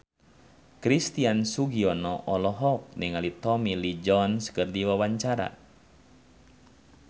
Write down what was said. Christian Sugiono olohok ningali Tommy Lee Jones keur diwawancara